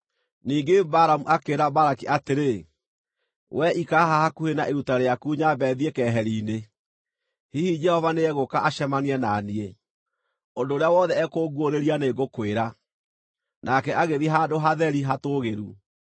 Ningĩ Balamu akĩĩra Balaki atĩrĩ, “Wee ikara haha hakuhĩ na iruta rĩaku nyambe thiĩ keheri-inĩ. Hihi Jehova nĩegũũka acemanie na niĩ. Ũndũ ũrĩa wothe ekũnguũrĩria nĩngũkwĩra.” Nake agĩthiĩ handũ hatheri hatũũgĩru.